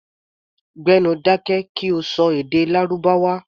Gbé nu dákẹ́ kí o ṣọ èdè Lárúbáwá!